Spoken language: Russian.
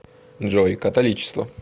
джой католичество